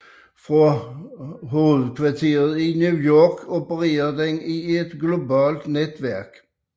Fra hovedkvarteret i New York opererer den i et globalt netværk